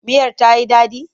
Miyar ta yi daɗi?